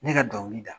Ne ka dɔnkili da